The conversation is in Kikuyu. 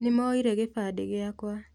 Nimoire gibandi giakwa